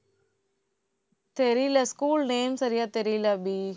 தெரியல, school name சரியா தெரியல அபி